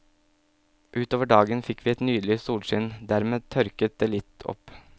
Utover dagen fikk vi et nydelig solskinn, dermed tørket det litt opp.